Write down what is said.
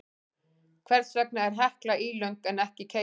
Hvers vegna er Hekla ílöng en ekki keila?